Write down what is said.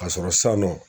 Ka sɔrɔ san nɔ